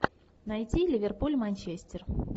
найти ливерпуль манчестер